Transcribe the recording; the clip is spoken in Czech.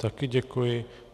Taky děkuji.